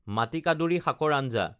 মাটিকাদুৰী শাকৰ আঞ্জা